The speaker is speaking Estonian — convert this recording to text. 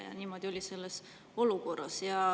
Ja niimoodi oli ka selles olukorras.